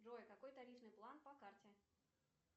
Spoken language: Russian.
джой какой тарифный план по карте